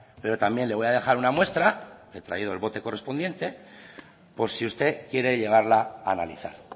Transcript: pero también le voy a dejar una muestra he traído el bote correspondiente por si usted quiere llevarla a analizar